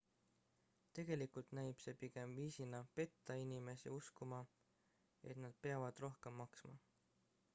tegelikult näib see pigem viisina petta inimesi uskuma et nad peavad rohkem maksma